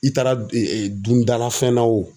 I taara dundala fɛn na o.